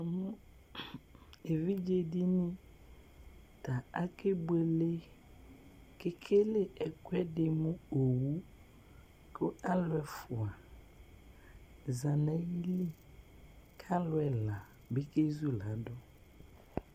Evidze dini ta akebuele kʋ ekele ɛkʋɛdi mʋ owʋ kʋ alʋ efʋa zati nʋ ayili alʋ ɛla bi kezuladʋ